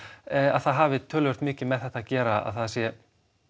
að það hafi töluvert mikið með þetta að gera að það sé